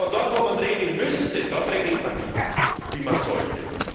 Aber dort, wo man regeln müsste, dort regelt man nicht, wie man sollte.